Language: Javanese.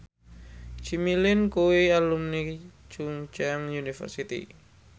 Jimmy Lin kuwi alumni Chungceong University